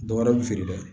Dɔ wɛrɛ bɛ feere dɛ